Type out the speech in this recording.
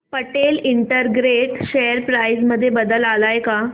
Patel integrate share price मध्ये बदल आलाय का